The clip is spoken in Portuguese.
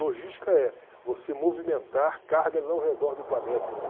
Logística é você movimentar cargas ao redor do planeta, né?